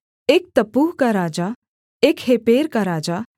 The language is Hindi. एक तप्पूह का राजा एक हेपेर का राजा